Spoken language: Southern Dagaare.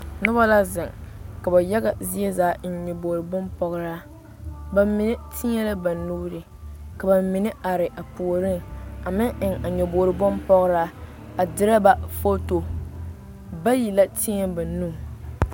Nobɔ la zeŋ ka ba yaga zie zaa eŋ nyobogre bonpɔgraa ba mine teɛ la ba nuure ka ba mine are a puoriŋ a meŋ eŋ a nyobogre bonpɔgraa a dirɛ ba foto bayi la teɛ ba nu.